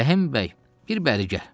Rəhim bəy, bir bəri gəl.